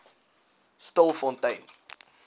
stilfontein